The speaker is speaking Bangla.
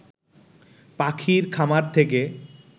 পাখির খামার থেকে